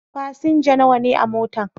Fasinja nawa ne a motan?